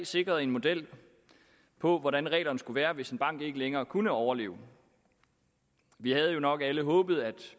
sikret en model for hvordan reglerne skulle være hvis en bank ikke længere kunne overleve vi havde jo nok alle håbet at